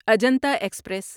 Ajanta express